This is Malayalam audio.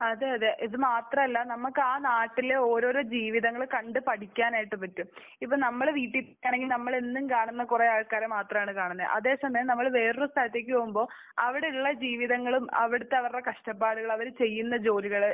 അതെ. അതെ. ഇത് മാത്രമല്ല. നമുക്ക് ആ നാട്ടിലെ ഓരോരോ ജീവിതങ്ങൾ കണ്ട് പഠിക്കാനായിട്ട് പറ്റും. ഇപ്പൊ നമ്മുടെ വീട്ടിൽ അല്ലെങ്കിൽ നമ്മൾ എന്നും കാണുന്ന കുറെ ആൾക്കാരെ മാത്രമാണ് കാണുന്നത്. അതെ സമയം നമ്മൾ വേറെയൊരു സ്ഥലത്തേക്ക് പോകുമ്പോൾ അവിടെയുള്ള ജീവിതങ്ങളും അവിടുത്തെ അവരുടെ കഷ്ടപ്പാടുകളും അവർ ചെയ്യുന്ന ജോലികൾ